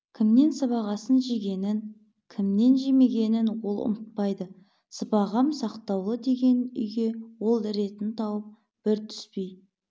кімнен сыбағасын жегенің кімнен жемегенін ол ұмытпайды сыбағам сақтаулы деген үйге ол ретін тауып бір түспей